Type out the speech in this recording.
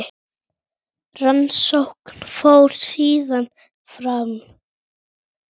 Rannsókn fór síðan fram.